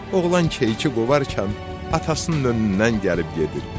Oğlan keyiki qovarkən, atasının önündən gəlib gedirdi.